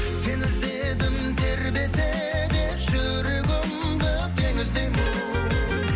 сені іздедім тербесе де жүрегімді теңіздей боп